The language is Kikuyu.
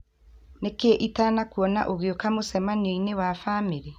Nĩ kĩĩ ĩtanakũona ũgeoka mũcemanio-inĩ wa famĩlĩ?